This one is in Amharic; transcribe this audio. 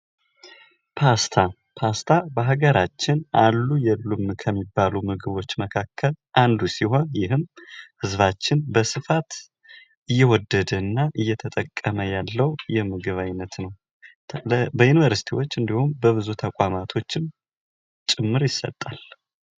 ፓስታ ፓስታ በሀገራችን አሉ ከሚባሉ ምግቦች መካከል አንዱ ሲሆን ይህም ህዝባችን በስፋት እየወደደና እየተጠቀመ ያለው የምግብ ዓይነት ነው። በዩንቨርስቲዎች ወይም ደግሞ በብዙ ተቋማቶች ጭምር ይሰጣል።